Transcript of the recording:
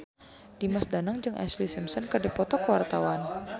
Dimas Danang jeung Ashlee Simpson keur dipoto ku wartawan